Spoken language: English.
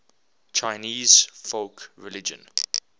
chinese folk religion